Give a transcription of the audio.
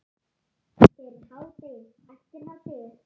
Fyrir hádegi, eftir hádegi.